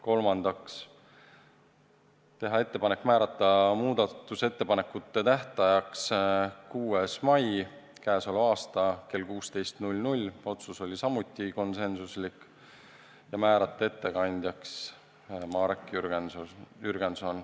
Kolmandaks, teha ettepanek määrata muudatusettepanekute tähtajaks 6. mai kell 16 – otsus oli samuti konsensuslik – ja määrata ettekandjaks Marek Jürgenson.